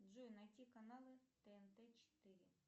джой найти каналы тнт четыре